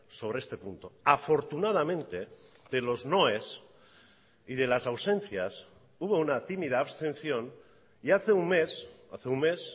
sobre este punto afortunadamente de los noes y de las ausencias hubo una tímida abstención y hace un mes hace un mes